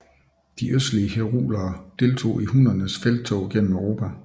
De østlige herulere deltog i hunnernes felttog gennem Europa